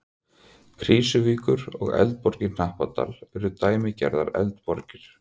Krýsuvíkur, og Eldborg í Hnappadal eru dæmigerðar eldborgir.